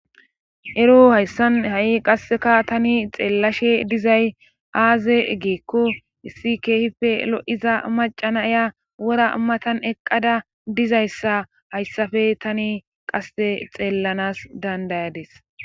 ero hayssan ha7i qasseka tani xeellashe dizay aaze geekko issi keehippe lo7iza macana ya wora matan eqqada dizayssa hayssafe tani qasse xeellanas dandayades